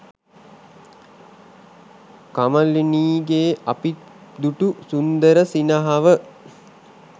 කමලිනීගේ අපි දුටු සුන්දර සිනහව